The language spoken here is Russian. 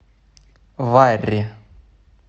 варри